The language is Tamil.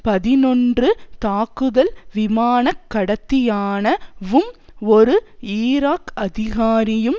பதினொன்று தாக்குதல் விமானக்கடத்தியான வும் ஒரு ஈராக் அதிகாரியும்